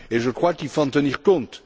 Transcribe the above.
Je crois qu'il faut en tenir compte.